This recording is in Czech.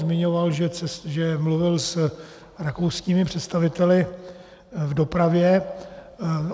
Zmiňoval, že mluvil s rakouskými představiteli v dopravě.